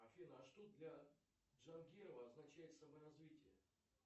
афина а что для джангирова означает саморазвитие